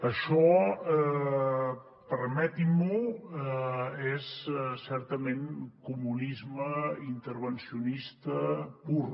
això permetin m’ho és certament comunisme intervencionista pur